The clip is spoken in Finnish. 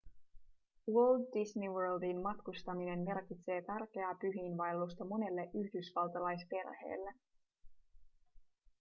walt disney worldiin matkustaminen merkitsee tärkeää pyhiinvaellusta monelle yhdysvaltalaisperheelle